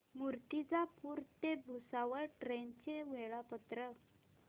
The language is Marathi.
मूर्तिजापूर ते भुसावळ ट्रेन चे वेळापत्रक